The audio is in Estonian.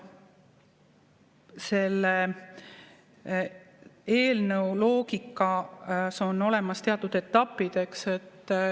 Selle eelnõu loogikas on olemas teatud etapid.